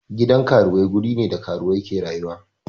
Gidan karuwai wuri ne da karuwai ke rayuwa.